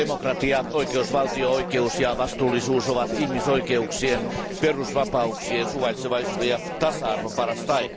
Demokratia, oikeusvaltio, oikeus ja vastuullisuus ovat ihmisoikeuksien, perusvapauksien, suvaitsevaisuuden ja tasa arvon paras tae.